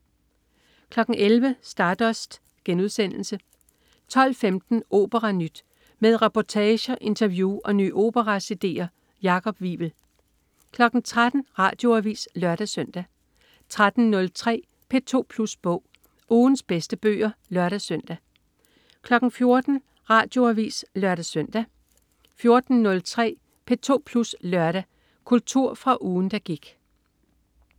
11.00 Stardust* 12.15 OperaNyt. Med reportager, interview og nye opera-cd'er. Jakob Wivel 13.00 Radioavis (lør-søn) 13.03 P2 Plus Bog. Ugens bedste bøger (lør-søn) 14.00 Radioavis (lør-søn) 14.03 P2 Plus Lørdag. Kultur fra ugen, der gik